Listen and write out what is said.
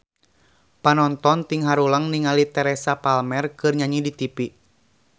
Panonton ting haruleng ningali Teresa Palmer keur nyanyi di tipi